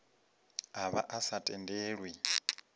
a vha a sa tendelwi